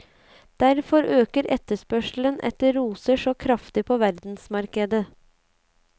Derfor øker etterspørselen etter roser så kraftig på verdensmarkedet.